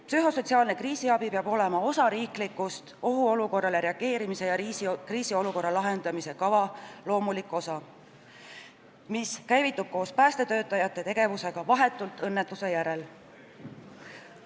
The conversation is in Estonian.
Psühhosotsiaalne kriisiabi peab olema riikliku ohuolukorrale reageerimise ja kriisiolukorra lahendamise kava loomulik osa, mis käivitub koos päästetöötajate tegevusega vahetult õnnetuse järel.